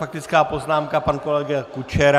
Faktická poznámka - pan kolega Kučera.